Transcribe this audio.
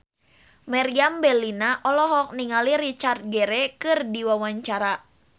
Meriam Bellina olohok ningali Richard Gere keur diwawancara